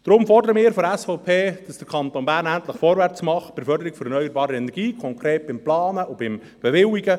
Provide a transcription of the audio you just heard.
Deshalb fordern wir seitens der SVP, dass der Kanton Bern endlich vorwärts macht bei der Förderung von erneuerbaren Energien, konkret beim Planen und Bewilligen.